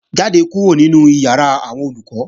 Jáde kúrò nínu ìyàrá àwọn Olùkọ́!